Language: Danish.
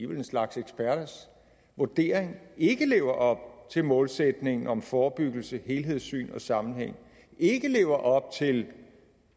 vel en slags eksperter vurdering ikke lever op til målsætningen om forebyggelse helhedssyn og sammenhæng ikke lever op til en